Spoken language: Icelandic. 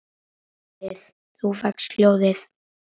Þú fékkst hjólið!